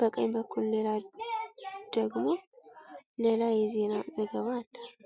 በቀኝ በኩል ደግሞ ሌላ የዜና ዘገባ አለ።